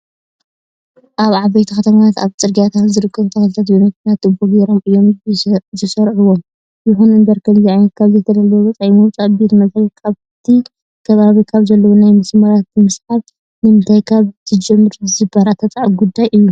ኣብ ዓበይቲ ከተማታት ኣብ ፅርጊያታት ዝርከቡ ተኽልታት ብመኪና ትቦ ገይሮም እዮም ዘስርዩዎም። ይኹንእምበር ከምዚ ዓይነት ካብ ዘይተደለየ ወፃኢ ምውፃእ ቤት መዘጋጃ ኣብቲ ከባቢ ካብ ዘለው ናይ ማይ መስመራት ብምስሓብ ንምስታይ ካብ ዝጅምሩ ዝበራታዕ ጉዳይ እዩ።